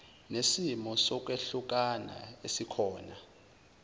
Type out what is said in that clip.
nesimo sokwehlukana esikhona